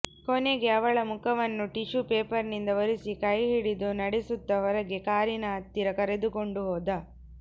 ಕೊನೆಗೆ ಅವಳ ಮುಖವನ್ನು ಟಿಶ್ಯೂ ಪೇಪರಿನಿಂದ ಒರೆಸಿ ಕೈ ಹಿಡಿದು ನಡೆಸುತ್ತ ಹೊರಗೆ ಕಾರಿನ ಹತ್ತಿರ ಕರೆದುಕೊಂಡು ಹೋದ